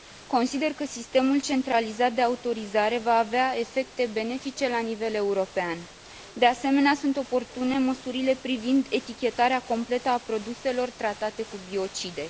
Consider că sistemul centralizat de autorizare va avea efecte benefice la nivel european. De asemenea, sunt oportune măsurile privind etichetarea completă a produselor tratate cu biocide.